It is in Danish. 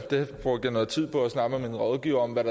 brugte noget tid på at snakke med mine rådgivere om hvad